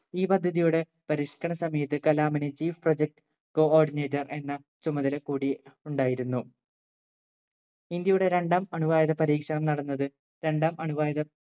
ഈ പദ്ധതിയുടെ പരിഷ്കരണ സമയത്ത് കലാമിന് chief project coordinator എന്ന ചുമതല കൂടി ഉണ്ടായിരുന്നു ഇന്ത്യയുടെ രണ്ടാം അണുവായുധ പരീക്ഷണം നടന്നത് രണ്ടാം അണുവായുധ